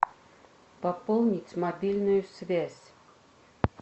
пополнить мобильную связь